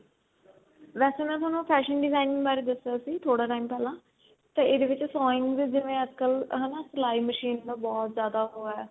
ਵੇਸੇ ਮੈਂ ਤੁਹਾਨੂੰ fashion designing ਬਾਰੇ ਦਸਿਆ ਸੀ ਥੋੜੇ time ਪਹਿਲਾਂ ਤਾਂ ਇਹਦੇ ਵਿੱਚ ਜਿਵੇਂ ਅੱਜਕਲ ਸਲਾਈ machine ਦਾ ਬਹੁਤ ਜਿਆਦਾ ਉਹ ਹੈ